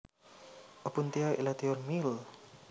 Opuntia elatior Mill